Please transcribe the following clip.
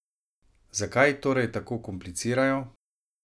Zakaj torej tako komplicirajo?